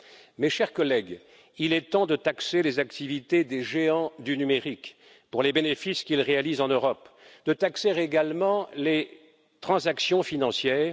Mes chers collègues, il est temps de taxer les activités des géants du numérique pour les bénéfices qu'ils réalisent en Europe, de taxer également les transactions financières.